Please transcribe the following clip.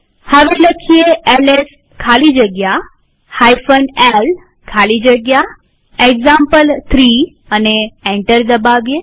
હવે એલએસ ખાલી જગ્યા l ખાલી જગ્યા એક્ઝામ્પલ3 લખી એન્ટર દબાવીએ